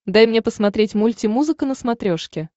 дай мне посмотреть мульти музыка на смотрешке